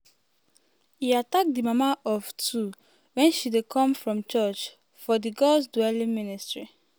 e attack di mama of two wen she dey come from church for di god's dwelling ministry.